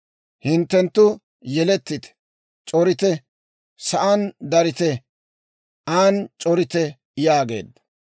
Hinttenttu yelettite; c'orite; sa'aan darite; an c'orite» yaageedda.